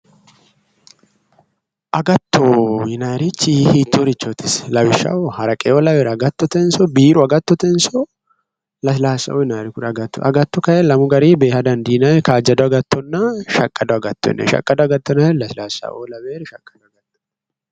Agatto yinanniri isi hiittoreeti, lawishshaho, haraqeo lawewori agattotenso biiru agattotenso lasilaasao yinayri agatto kayi lamu garinni beeha dandiinay kaajjado agattonna shaqqado agatto yine shaqqado agatto yinayr lasilaasao lawewori shaqado agotooti